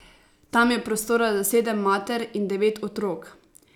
Tam je prostora za sedem mater in devet otrok.